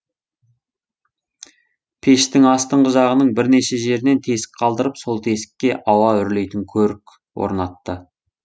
пештің астыңғы жағының бірнеше жерінен тесік қалдырып сол тесікке ауа үрлейтін көрік орнатты